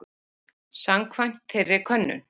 Samkvæmt þeirri könnun